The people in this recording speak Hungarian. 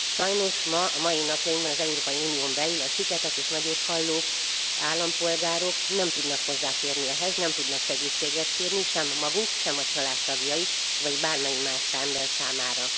Sajnos ma, mai napjainkban az Európai Unión belül a siketek és nagyothalló állampolgárok nem tudnak hozzáférni ehhez, nem tudnak segítséget kérni sem a maguk, sem a családtagjaik, vagy bármelyik más ember számára.